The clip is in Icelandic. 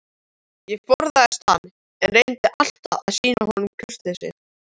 Ég forðaðist hann, en reyndi alltaf að sýna honum kurteisi.